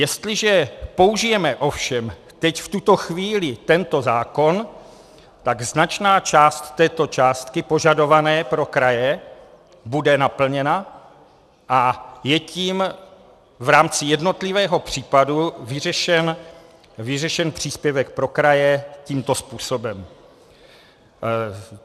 Jestliže použijeme ovšem teď v tuto chvíli tento zákon, tak značná část této částky požadované pro kraje bude naplněna a je tím v rámci jednotlivého případu vyřešen příspěvek pro kraje tímto způsobem.